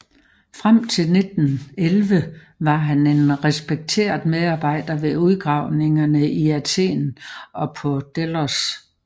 Frem til 1911 var han en respekteret medarbejder ved udgravningerne i Athen og på Delos